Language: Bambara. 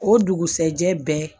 O dugusajɛ bɛɛ